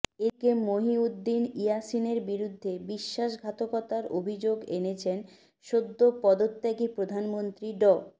এদিকে মুহিউদ্দিন ইয়াসিনের বিরুদ্ধে বিশ্বাসঘাতকতার অভিযোগ এনেছেন সদ্য পদত্যাগী প্রধানমন্ত্রী ড